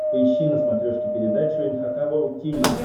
поищи на смотрешке передачу эн эйч кей волд ти ви